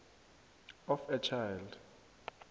of a child